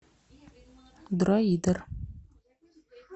дроидер